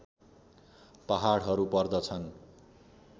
पहाडहरू पर्दछन्